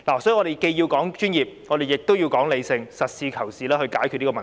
所以，我們既要說專業，亦要說理性，實事求是地解決這問題。